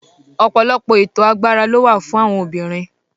Ọ̀pọ̀lọpọ̀ ètò agbára ló wà fún àwọn obìnrin.